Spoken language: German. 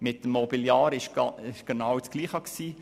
Das Gleiche gilt für das Mobiliar.